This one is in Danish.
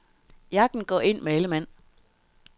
Jagten går ind med alle mand.